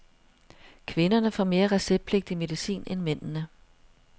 Kvinderne får mere receptpligtig medicin end mændene.